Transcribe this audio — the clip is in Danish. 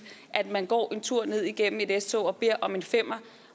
at man går en tur ned igennem et s tog og beder om en femmer